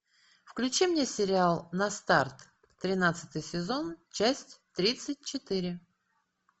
включи мне сериал на старт тринадцатый сезон часть тридцать четыре